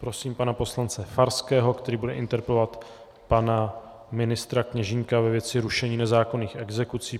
Prosím pana poslance Farského, který bude interpelovat pana ministra Kněžínka ve věci rušení nezákonných exekucí.